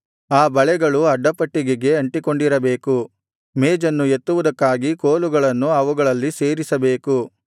ಆ ಬಳೆಗಳು ಅಡ್ಡಪಟ್ಟಿಗೆಗೆ ಅಂಟಿಕೊಂಡಿರಬೇಕು ಮೇಜನ್ನು ಎತ್ತುವುದಕ್ಕಾಗಿ ಕೋಲುಗಳನ್ನು ಅವುಗಳಲ್ಲಿ ಸೇರಿಸಬೇಕು